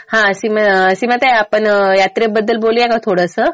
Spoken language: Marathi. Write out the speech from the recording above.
हा सीमाताई, आपण यात्रेबद्दल बोलूया का थोडंसं.